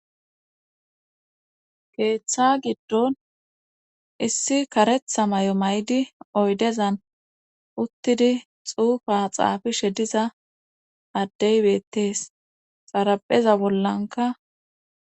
keeththa giddon issi karetha may7o may7di oydezan uttidi xuufa xaafishe diza addey beettees xarapeza bollanka